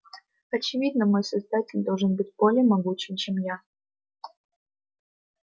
очевидно мой создатель должен быть более могучим чем я